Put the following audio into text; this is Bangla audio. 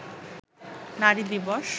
নারী দিবস